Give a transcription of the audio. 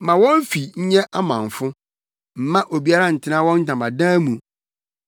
Ma wɔn fi nyɛ amamfo; mma obiara ntena wɔn ntamadan mu.